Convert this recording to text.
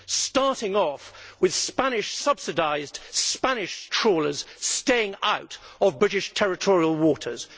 starting off with Spanish subsidised Spanish trawlers staying out of British territorial waters.